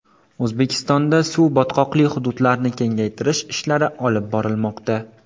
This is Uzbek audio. O‘zbekistonda suv-botqoqli hududlarni kengaytirish ishlari olib borilmoqda.